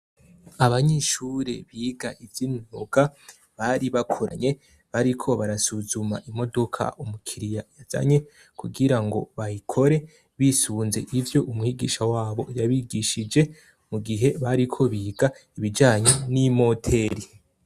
abanyeshure biga ivy’umwuga bari bakoranye bariko barasuzuma imodoka umukiriya yazanye kugira ngo bayikore bisunze ivyo umwigisha wabo yabigishije mu gihe bariko biga ibijanye n'imoteri